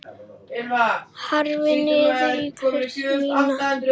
Horfi niður á fætur mína.